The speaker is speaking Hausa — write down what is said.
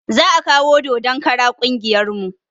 Za kawo dodon kara ƙungiyar mu